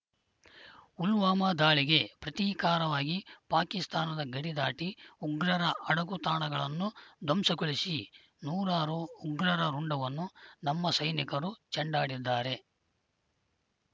ಪುಲ್ವಾಮಾ ದಾಳಿಗೆ ಪ್ರತೀಕಾರವಾಗಿ ಪಾಕಿಸ್ತಾನದ ಗಡಿ ದಾಟಿ ಉಗ್ರರ ಅಡಗು ತಾಣಗಳನ್ನು ಧ್ವಂಸಗೊಳಿಸಿ ನೂರಾರು ಉಗ್ರರ ರುಂಡವನ್ನು ನಮ್ಮ ಸೈನಿಕರು ಚೆಂಡಾಡಿದ್ದಾರೆ